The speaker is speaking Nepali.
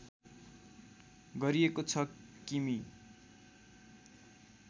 गरिएको छ किमी